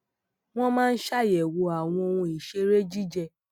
wón máa ń ṣàyèwò àwọn ohun ìṣeré jijẹ